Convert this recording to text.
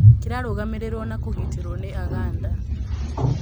Kĩrarũgamĩrĩrwo na kũgitĩrwo nĩ Aganda.